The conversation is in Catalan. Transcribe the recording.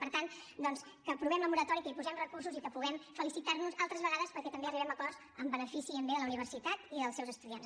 per tant doncs que aprovem la moratòria que hi posem recursos i que puguem felicitar nos altres vegades perquè també arribem a acords en benefici i pel bé de la universitat i dels seus estudiants